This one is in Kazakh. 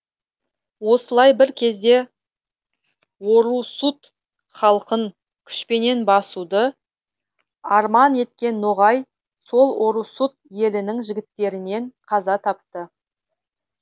осылай бір кезде орұсут халқын күшпенен басуды арман еткен ноғай сол орұсут елінің жігіттерінен қаза тапты